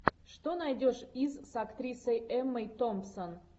что найдешь из с актрисой эммой томпсон